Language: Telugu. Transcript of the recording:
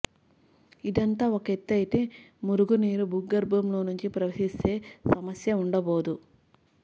ఇదంతా ఒక ఎత్తయితే మురుగునీరు భూగర్భంలో నుంచి ప్రవహిస్తే సమస్యే ఉండబోదు